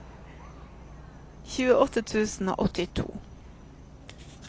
tjueåtte tusen og åttito